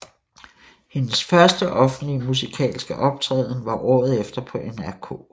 Hendes første offentlige musikalske optræden var året efter på NRK